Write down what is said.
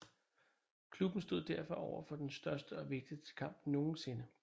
Klubben stod derfor overfor den største og vigtigste kamp nogensinde